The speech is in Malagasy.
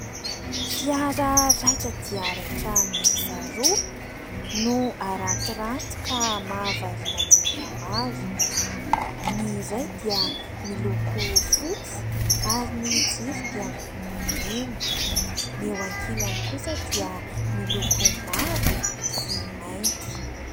Fiara raitra dia raitra miisa roa, no arantiranty ka mahavariana ny olona maro. Ny iray dia miloko fotsy ary ny jiro dia miloko mena. Ny eo an-kilany kosa dia miloko mavo sy mainty.